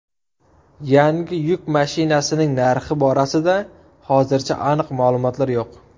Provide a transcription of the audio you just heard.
Yangi yuk mashinasining narxi borasida hozircha aniq ma’lumotlar yo‘q.